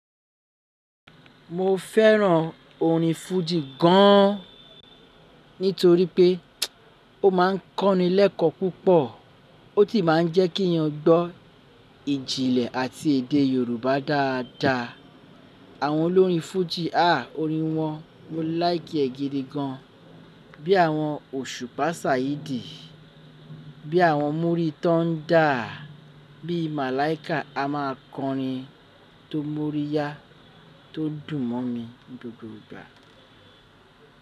Mo fẹ́ràn orin fújì gan an nítorí pé ó máa ń kọ́ni lẹ́kọ̀ púpọ̀, ó sì máa ń jẹ́ kí yan gbọ́ ìjìnlẹ̀ àti èdè Yorùbá dáadáa. Àwọn olórin fújì há orin wọn, mo láìki e gidi gán. Bí àwọn òṣùpá Saheedi, bí àwọn múrí tó ń dà, bí Malaika a máa kọrin tó mọ́ríyá tó dùn mọ́ mi gbogbo ìgbà.